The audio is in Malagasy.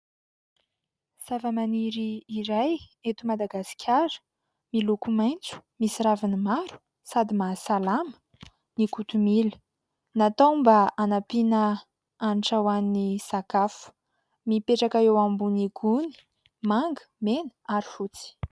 Zavamaniry iray eto Madagasikara, miloko maitso misy raviny maro sady mahasalama ny kotomila. Natao mba hanampiana hanitra ho an'ny sakafo, mipetraka eo ambony gony manga, mena ary fotsy.